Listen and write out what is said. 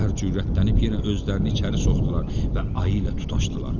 İtlər cürətlənib yenə özlərini içəri soxdular və ayı ilə tutaşdılar.